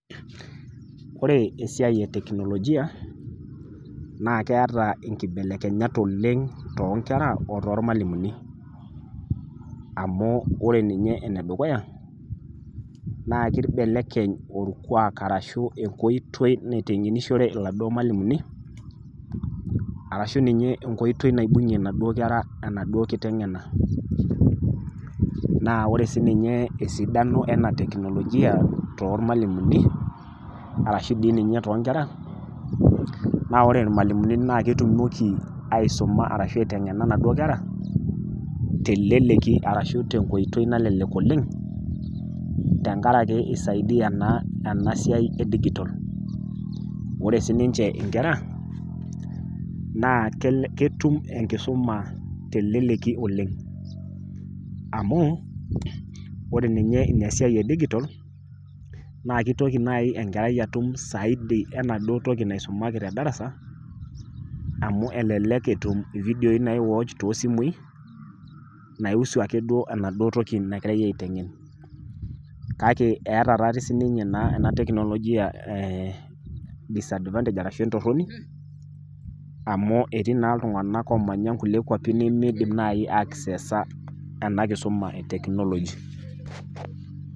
Kore esiai eteknolojia naakeata inkibelekenyat oleng' toonkera o too ilmalimuni. Amu ore ninye enedukuya naa keibelekeny orkwaak arashu enkoitoi naiteng'enishore iladuo malimuni arashu ninye enkoitoi naibung'e naduo kera enaduo kiteng'ena. Naa ore sininye esidano ena  teknolojia toolmalimuni arashu dii ninye toonkera naa ore ilmalimuni naaketumoki aisoma arashu aiteng'ena naduo kera teleleki arashu tenkoitoi nalelek oleng' tengarake eisaidia naa enasiai edigitol. Ore sininche inkera naa ketum enkisuma teleleki oleng' amuu ore ninye inasiai edigitol naakeitoki nai enkerai atum saidi enaduo toki naisumaki tedarasa amu elelek etum ividioi naiwach toosimui naihusu akeduo enaduo toki nagirai aiteng'en. Kake eata taatei sininye naa enateknolojia ee disadvantage arashu entorroni amu etii naa iltung'anak oomanya nkulie kuapi nemeidim nai akseesa ena kisuma eteknoloji.